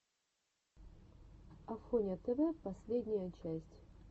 афоня тв последняя часть